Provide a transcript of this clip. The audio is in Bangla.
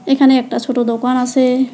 এখানে একটা ছোট দোকান আছে।